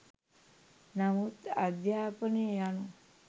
නමුත් අධ්‍යාපනය යනු